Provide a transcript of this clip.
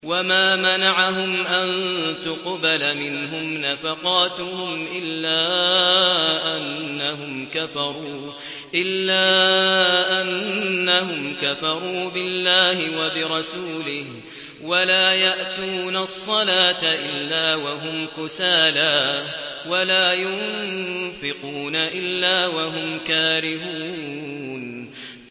وَمَا مَنَعَهُمْ أَن تُقْبَلَ مِنْهُمْ نَفَقَاتُهُمْ إِلَّا أَنَّهُمْ كَفَرُوا بِاللَّهِ وَبِرَسُولِهِ وَلَا يَأْتُونَ الصَّلَاةَ إِلَّا وَهُمْ كُسَالَىٰ وَلَا يُنفِقُونَ إِلَّا وَهُمْ كَارِهُونَ